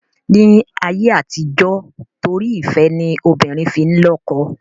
Ni ayé àtijọ́ torí ìfẹ́ ni obìnrin fi n lọ́kọ